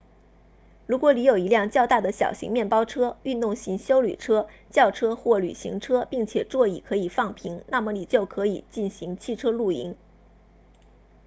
如果你有一辆较大的小型面包车运动型休旅车轿车或旅行车并且座椅可以放平那么你就可以进行汽车露营